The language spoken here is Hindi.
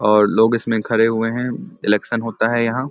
और लोग इसमें खड़े हुए है इलेक्शन होता है यहां।